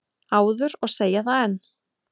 áður og segi það enn.